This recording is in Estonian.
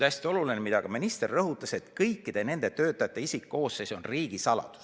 Hästi oluline on see, mida ka minister rõhutas, et kõikide nende töötajate isikkoosseis on riigisaladus.